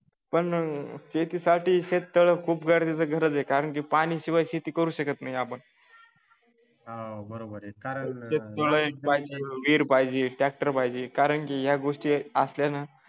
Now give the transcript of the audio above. पण शेतीसाठी शेततळ खूप गरजेच खरच आहे कारण की पाण्याशिवाय शेती करू शकत नाही आपण एक शेत तळ पाहिजे एक विहीर पाहिजे ट्रॅक्टर पाहिजे कारण की या गोष्टी हे असल्या ना